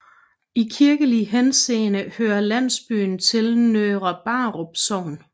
I kirkelig henseende hører landsbyen til Nørre Brarup Sogn